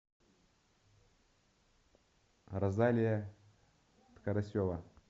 розалия карасева